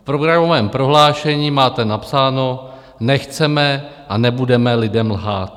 V programovém prohlášení máte napsáno: Nechceme a nebudeme lidem lhát.